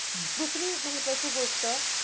दुसरी एक महत्वाची गोष्ट,